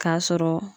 K'a sɔrɔ